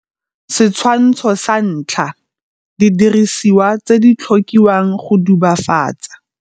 Setshwantsho sa 1 - Didirisiwa tse di tlhokiwang go dubafatsa.